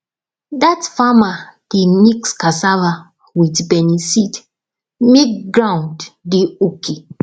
dat farmer dey mix cassava with beniseed make ground dey okay